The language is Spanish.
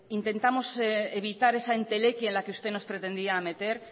intentamos evitar esa entelequia en la que usted nos pretendía meter